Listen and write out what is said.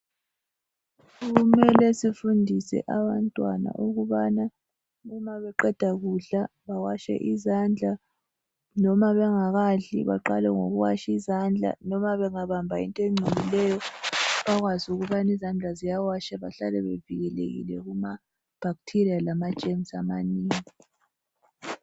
Kumele sifundise abantwana ukubana ma beqeda kudla bawashe izandla noma bengakadli baqale ngokuwasha izandla noma bangabamba into engcolileyo bakwazi ukubana izandla ziyawashwa bahlale bevikelekile kuma bacteria lama germs amaningi.